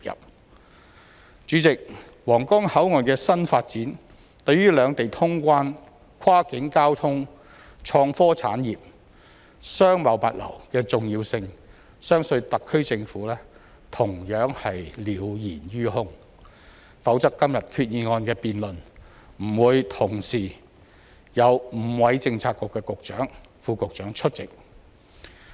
代理主席，皇崗口岸的新發展對於兩地通關、跨境交通、創科產業、商貿物流的重要性，相信特區政府同樣是了然於胸，否則今天議案的辯論不會同時有5位政策局局長、副局長出席。